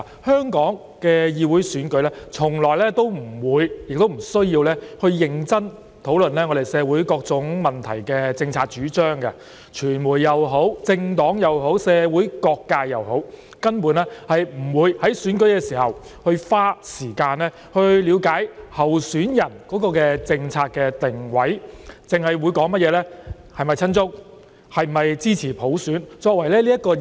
香港的議會選舉從來不會亦不需要認真討論我們就社會各種問題的政策主張，無論是傳媒、政黨或社會各界，根本不會在選舉時花時間了解候選人的政策定位，而只是討論其是否親中或支持普選來區分候選人。